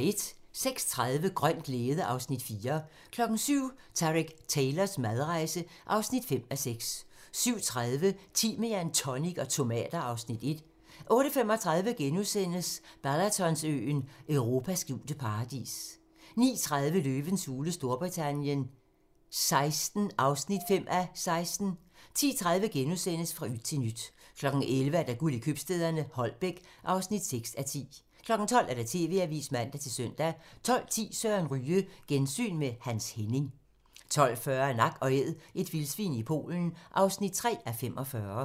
06:30: Grøn glæde (Afs. 4) 07:00: Tareq Taylors madrejse (5:6) 07:30: Timian, tonic og tomater (Afs. 1) 08:35: Balatonsøen: Europas skjulte paradis * 09:30: Løvens hule Storbritannien XVI (5:16) 10:30: Fra yt til nyt * 11:00: Guld i købstæderne - Holbæk (6:10) 12:00: TV-avisen (man-søn) 12:10: Søren Ryge: Gensyn med Hans Henning 12:40: Nak & Æd - et vildsvin i Polen (3:45)